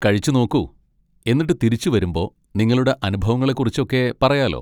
കഴിച്ചു നോക്കൂ, എന്നിട്ട് തിരിച്ചുവരുമ്പോ നിങ്ങളുടെ അനുഭവങ്ങളെ കുറിച്ചൊക്കെ പറയാലോ.